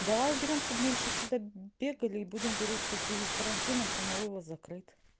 давай уберём чтобы меньше сюда бегали и будем говорить что в связи с карантином самовывоз закрыт